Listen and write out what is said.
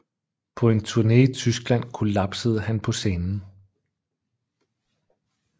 På en turne i Tyskland kollapsede han på scenen